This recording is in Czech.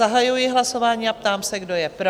Zahajuji hlasování a ptám se, kdo je pro?